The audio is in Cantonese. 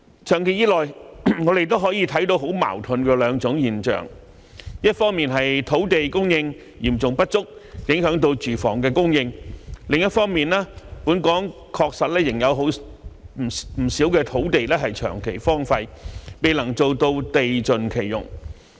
長期以來，我們也可以看到兩種很矛盾的現象，一方面是土地供應嚴重不足，影響住房供應；另一方面是本港確實仍有不少土地長期荒廢，未能做到地盡其用。